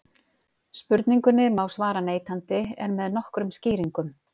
Spurningunni má svara neitandi en með nokkrum skýringum.